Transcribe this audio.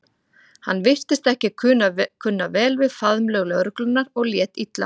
Hann virtist ekki kunna vel við faðmlög lögreglunnar og lét illa.